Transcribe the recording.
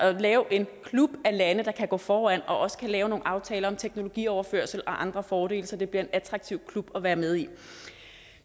og lave en klub af lande der kan gå foran og også lave nogle aftaler om teknologioverførsel og andre fordele så det bliver en attraktiv klub at være med i